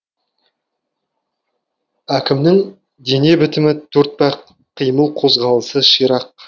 әкімнің дене бітімі төртбақ қимыл қозғалысы ширақ